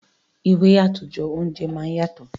Ìwé àtòjọ àwọn oúnjẹ máa ń yàtọ̀.